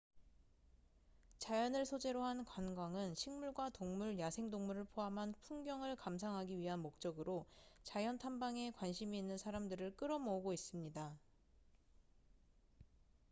자연을 소재로 한 관광은 식물과 동물 야생동물을 포함한 풍경을 감상하기 위한 목적으로 자연 탐방에 관심이 있는 사람들을 끌어모으고 있습니다